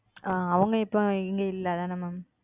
ஆஹ் அவங்க இப்போ இங்க இல்ல அதான Ma'am?